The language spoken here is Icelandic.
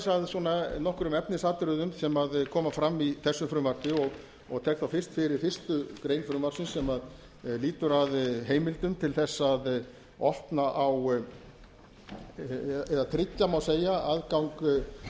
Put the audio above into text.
að nokkrum efnisatriðum sem koma fram í þessu frumvarpi og tek þá fyrst fyrir fyrstu grein frumvarpsins sem lýtur að heimildum til þess að opna á eða tryggja má segja aðgang